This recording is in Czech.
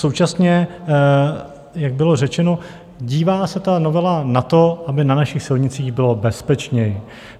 Současně, jak bylo řečeno, dívá se ta novela na to, aby na našich silnicích bylo bezpečněji.